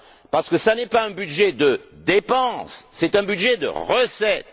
Parce que ce n'est pas un budget de dépenses, c'est un budget de recettes.